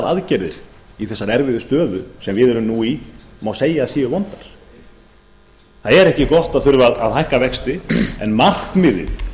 aðgerðir í þessari erfiðu stöðu sem við erum nú í má segja að séu vondar það er ekki gott að þurfa að hækka vexti en markmiðið